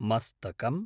मस्तकम्